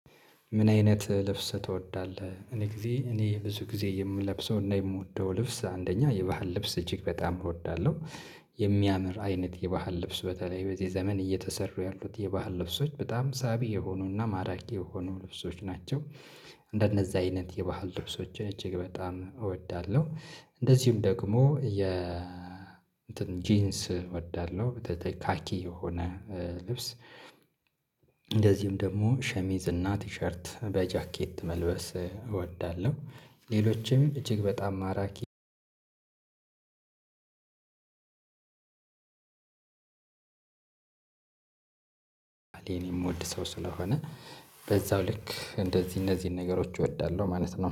ምን አይነት ልብስ ትወዳለህ? እኔ ጊዜ እኔ ብዙ ጊዜ የምለብሰውና የምወደው ልብስ አንደኛ የባህል ልብስ እጅግ በጣም እወዳለሁ። የሚያምር አይነት የባህል ልብስ በተለይ በዚህ ዘመን እየተሰሩ ያሉት የባህል ልብሶች በጣም ሳቢ የሆኑና ማራኪ የሆኑ ልብሶች ናቸው። እንደነዛ አይነት የባህል ልብሶችን እጅግ በጣም እወዳለሁ። እንደዚሁም ደግሞ የእንትን ጂንስ እወዳለሁ። ካኪ የሆነ ልብስ እንደዚሁም ደግሞ ሸሚዝና ቲሸርት በጃኬት መልበስ እወዳለሁ። ሌሎችም እጅግ በጣም ማራኪ እኔን የምወድ ሰው ስለሆነ በዛው ልክ እንደዚህ እነዚህን ነገሮች እወዳለሁ ማለት ነው።